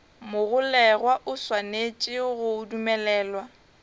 mogolegwa o swanetše go dumelelwa